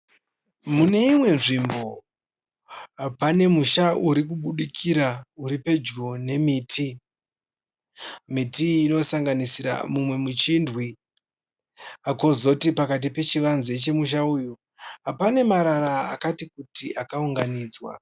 Muneimwe nzvimbo pane musha urikubudikira uripedyo neMiti. Miti iyi inosanganisira mumwe MuChindwi. Kozoti pakati peChivanze chemusha uyu pane marara akati kutii akaunganidzwa.